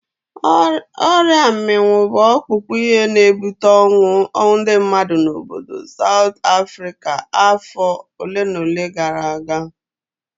Ọrịa mminwu bụ ọkpụkpụ ihe na-ebute ọnwụ ndị mmadụ n'obodo Saut Afrịka afọ olenaole gara aga.